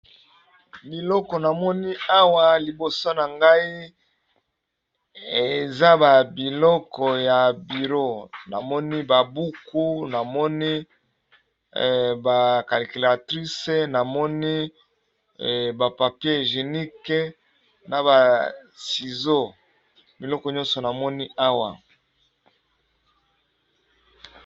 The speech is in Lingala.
Biloko na moni awa liboso na ngai eza ba biloko ya biro namoni ba buku namoni ba calculatrice namoni ba papier jenique na ba sizo biloko nyonso namoni awa.